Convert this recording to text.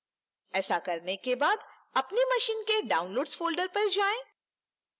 ऐसा करने के बाद अपनी machine के downloads folder पर जाएं